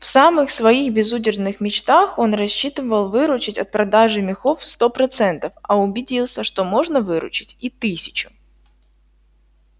в самых своих безудержных мечтах он рассчитывал выручить от продажи мехов сто процентов а убедился что можно выручить и тысячу